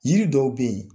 Yiri dɔw be yen